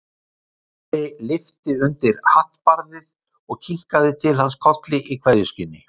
Ari lyfti undir hattbarðið og kinkaði til hans kolli í kveðjuskyni.